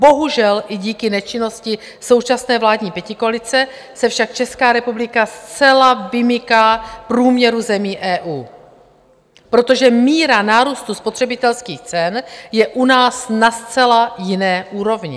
Bohužel i díky nečinnosti současné vládní pětikoalice se však Česká republika zcela vymyká průměru zemí EU, protože míra nárůstu spotřebitelských cen je u nás na zcela jiné úrovni.